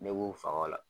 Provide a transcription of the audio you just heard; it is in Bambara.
Ne b'u faga o la